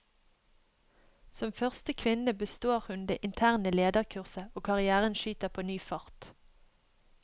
Som første kvinne består hun det interne lederkurset, og karrièren skyter på ny fart.